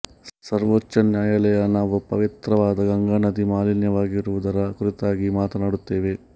ಸರ್ವೋಚ್ಛ ನ್ಯಾಯಾಲಯ ನಾವು ಪವಿತ್ರವಾದ ಗಂಗಾ ನದಿ ಮಾಲಿನ್ಯವಾಗಿರುವುದರ ಕುರಿತಾಗಿ ಮಾತನಾಡುತ್ತೇವೆ